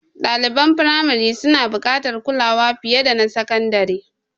Ɗaliban firamari suna buƙatar kulawa fiye da na sakandare.